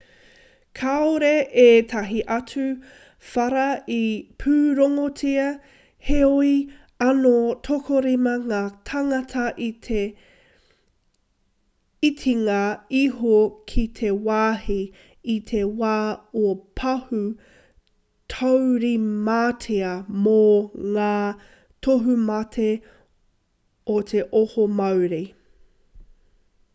kāore ētahi atu whara i pūrongotia heoi anō tokorima ngā tāngata i te itinga iho ki te wāhi i te wā o te pahū i taurimatia mō ngā tohumate o te oho mauri